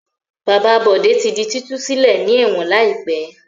Bàbá Bọ̀dé tí di títú sílẹ̀ ní ẹ̀wọ̀n láìpẹ́.